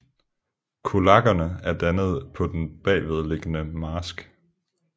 Kullagene er dannet på den bagvedliggende marsk